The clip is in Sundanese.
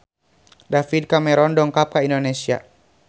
David Cameron dongkap ka Indonesia